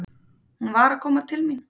Hún var að koma til mín.